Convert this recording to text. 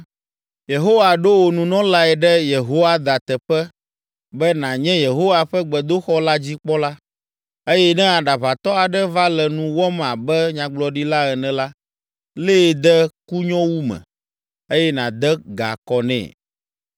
‘Yehowa ɖo wò nunɔlae ɖe Yehoiada teƒe be nànye Yehowa ƒe gbedoxɔ la dzi kpɔla, eye ne aɖaʋatɔ aɖe va le nu wɔm abe nyagblɔɖila ene la, lée de kunyowu me, eye nàde ga kɔ nɛ.